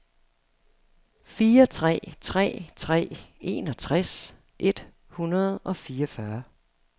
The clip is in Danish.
fire tre tre tre enogtres et hundrede og fireogfyrre